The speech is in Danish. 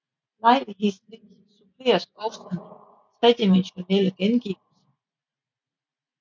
Lejlighedsvis suppleres også med tredimensionale gengivelser